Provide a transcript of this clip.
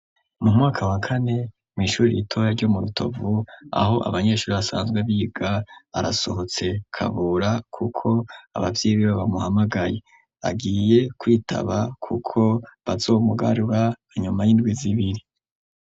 Mu mwaka wakane mw'ishurire itoa ryo mu rutovu aho abanyeshuri asanzwe biga arasohotse kabura, kuko abavyeyi biba bamuhamagaye agiye kwitaba, kuko bazomugarura anyuma y'indwi zibiri.